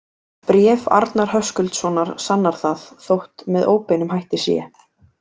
Bréf Arnar Höskuldssonar sannar það, þótt með óbeinum hætti sé.